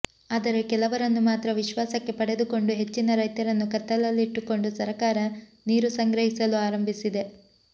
ಆದರೆ ಕೆಲವರನ್ನು ಮಾತ್ರ ವಿಶ್ವಾಸಕ್ಕೆ ಪಡೆದುಕೊಂಡು ಹೆಚ್ಚಿನ ರೈತರನ್ನು ಕತ್ತಲಲ್ಲಿಟ್ಟುಕೊಂಡು ಸರಕಾರ ನೀರು ಸಂಗ್ರಹಿಸಲು ಆರಂಭಿಸಿದೆ